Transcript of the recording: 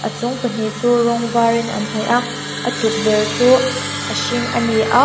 a chung pahnih chu rawng var in an hnawih a a tukverh chu a hring a ni a--